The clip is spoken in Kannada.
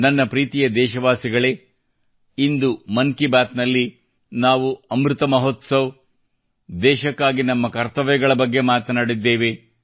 ನನ್ನ ಪ್ರೀತಿಯ ದೇಶವಾಸಿಗಳೇ ಇಂದು ಮನ್ ಕಿ ಬಾತ್ ನಲ್ಲಿ ನಾವು ಅಮೃತ್ ಮಹೋತ್ಸವ್ ಮತ್ತು ದೇಶಕ್ಕಾಗಿ ನಮ್ಮ ಕರ್ತವ್ಯ ಪಾಲನೆಯ ಬಗ್ಗೆ ಮಾತನಾಡಿದ್ದೇವೆ